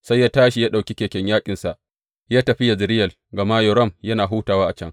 Sai ya tashi ya ɗauki keken yaƙinsa ya tafi Yezireyel gama Yoram yana hutawa a can.